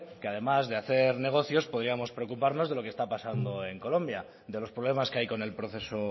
que además de hacer negocios podíamos preocuparnos de lo que está pasando en colombia de los problemas que hay con el proceso